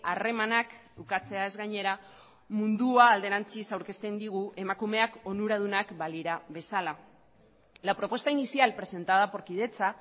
harremanak ukatzeaz gainera mundua alderantziz aurkezten digu emakumeak onuradunak balira bezala la propuesta inicial presentada por kidetza